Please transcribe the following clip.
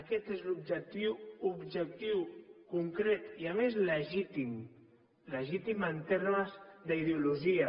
aquest és l’objectiu objectiu concret i a més legítim legítim en termes d’ideologia